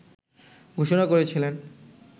ঘোষণা করেছিলেন